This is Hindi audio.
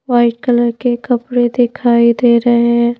वाइट कलर के कपड़े दिखाई दे रहे हैं।